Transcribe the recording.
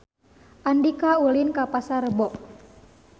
Andika ulin ka Pasar Rebo